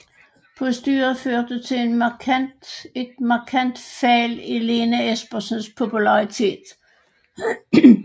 Postyret førte til et markant fald i Lene Espersens popularitet